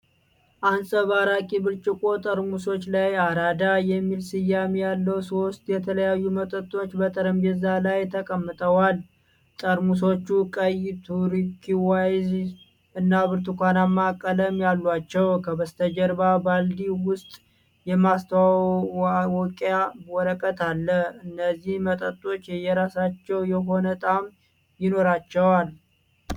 አንጸባራቂ ብርጭቆ ጠርሙሶች ላይ "አራዳ" የሚል ስያሜ ያለው ሶስት የተለያዩ መጠጦች በጠረጴዛ ላይ ተቀምጠዋል። ጠርሙሶቹ ቀይ፣ ቱርኩዋይዝ እና ብርቱካናማ ቀለም አሏቸው። ከበስተጀርባ በባልዲ ውስጥ የማስተዋወቂያ ወረቀት አለ፤ እነዚህ መጠጦች የየራሳቸው የሆነ ጣዕም ይኖራቸዋልን?